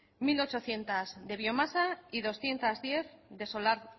mil ochocientos de biomasa y doscientos diez de solar